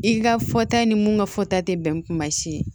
I ka fɔta ni mun ka fɔta te bɛn kuma si ye